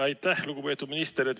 Aitäh, lugupeetud minister!